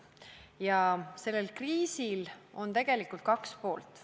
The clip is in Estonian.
Ja sellel kriisil on tegelikult kaks poolt.